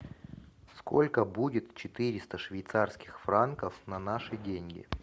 сколько будет четыреста швейцарских франков на наши деньги